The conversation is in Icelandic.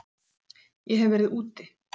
Ég hef verið úti.